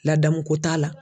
Ladamuko t'a la